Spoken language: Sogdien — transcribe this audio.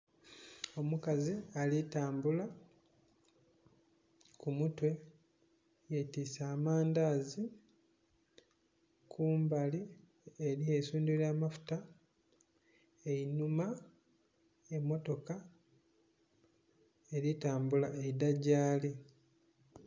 Omukazi ali tambula, ku mutwe yetiise amandazi, kumbali eriyo eisundhiro lya amafuta einhuma emmotoka eri tambula nga eidha gyali.